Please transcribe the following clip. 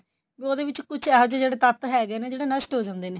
ਉਹਦੇ ਵਿੱਚ ਕੁੱਛ ਇਹੋ ਜਿਹੇ ਜਿਹੜੇ ਤੱਤ ਹੈਗੇ ਨੇ ਜਿਹੜੇ ਨਸ਼ਟ ਹੋ ਜਾਂਦੇ ਨੇ